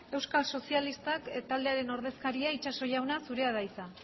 euskal sozialistak taldearen ordezkaria itxaso jauna zurea da hitza